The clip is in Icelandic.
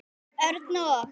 Örn og